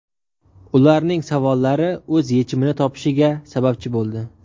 ularning savollari o‘z yechimini topishiga sababchi bo‘ldi.